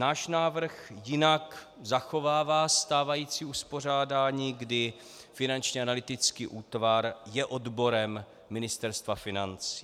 Náš návrh jinak zachovává stávající uspořádání, kdy Finanční analytický útvar je odborem Ministerstva financí.